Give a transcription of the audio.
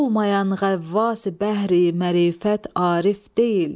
Olmayan ğəvvasi bəhri mərifət arif deyil.